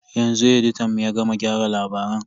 Yanzu editan mu ya gama gyara labaran.